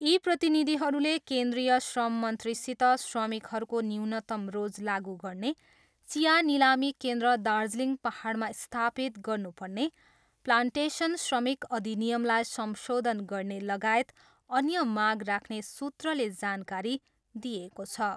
यी प्रतिनिधिहरूले केन्द्रिय श्रम मन्त्रीसित, श्रमिकहरूको न्यूनतम रोज लागु गर्ने, चिया निलामी केन्द्र दार्जिलिङ पाहाडमा स्थापित गर्नु पर्ने, प्लान्टेसन श्रमिक अधिनियमलाई संशोधन गर्ने लगायत अन्य माग राख्ने सूत्रले जानकारी दिएको छ।